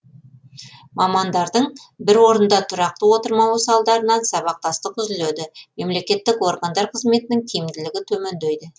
мамандардың бір орында тұрақты отырмауы салдарынан сабақтастық үзіледі мемлекеттік органдар қызметінің тиімділігі төмендейді